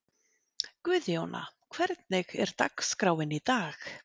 Guðjóna, hvernig er dagskráin í dag?